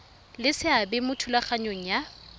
le seabe mo thulaganyong ya